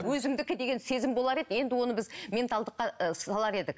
өзімдікі деген сезім болар еді енді оны біз менталдыққа ы салар едік